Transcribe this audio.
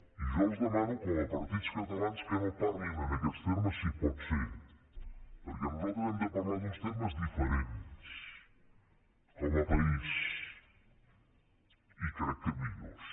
i jo els demano com a partits catalans que no parlin en aquests termes si pot ser perquè nosaltres hem de parlar en uns termes diferents com a país i crec que millors